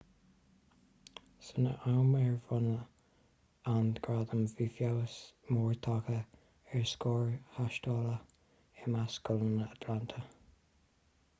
san am ar bronnadh an gradam bhí feabhas mór tagtha ar scóir thástála i measc scoileanna atlanta